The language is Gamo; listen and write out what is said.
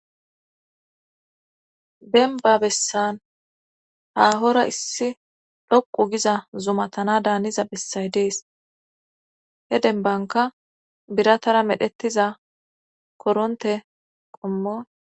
denba bessan haahora issi dhoqu giza zumatana daaniza bessay dees he denbanka biratara medhettiza koronte qommo